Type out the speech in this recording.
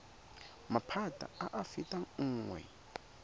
maphata a a fetang nngwe